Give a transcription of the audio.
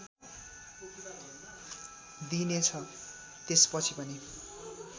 दिइनेछ त्यसपछि पनि